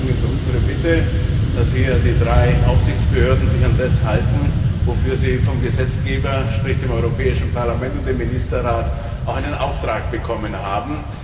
Deswegen ist unsere Bitte, dass sich die drei Aufsichtsbehörden hier an das halten, wofür sie vom Gesetzgeber sprich dem Europäischen Parlament und dem Ministerrat auch einen Auftrag bekommen haben.